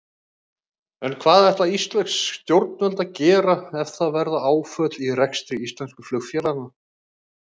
En hvað ætla íslensk stjórnvöld að gera ef það verða áföll í rekstri íslensku flugfélaganna?